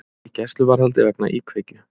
Í gæsluvarðhaldi vegna íkveikju